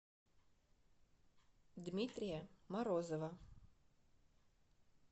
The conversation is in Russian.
дмитрия морозова